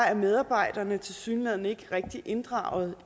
er medarbejderne tilsyneladende ikke rigtig inddraget